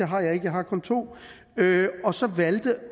har jeg ikke jeg har kun to og så valgte